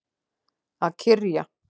Að kyrja.